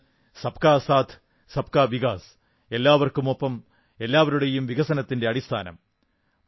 ഇതാണ് സബ്കാ സാഥ് സബ്കാ വികാസ് എല്ലാവർക്കുമൊപ്പം എല്ലാവരുടെയും വികസനത്തിന്റെ അടിസ്ഥാനം